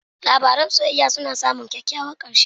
Labaran soyayya suna damun kyakkyawan ƙarshe.